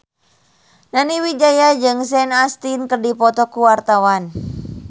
Nani Wijaya jeung Sean Astin keur dipoto ku wartawan